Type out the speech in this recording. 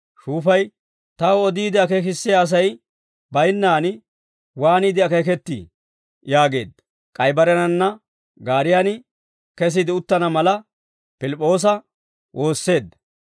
Shuufay, «Taw odiide akeekissiyaa Asay baynnaan waaniide akeekettii?» yaageedda; k'ay barenanna gaariyaan kesiide uttana mala, Pilip'p'oosa woosseedda.